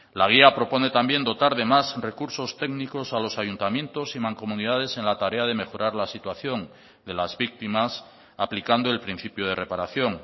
la guía propone también dotar de más recursos técnicos a los ayuntamientos y mancomunidades en la tarea de mejorar la situación de las víctimas aplicando el principio de reparación